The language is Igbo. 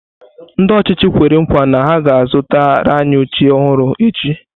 Ndị ọchịchị kwere nkwa na ha ga-azụtara anyị oche ọhụrụ echi.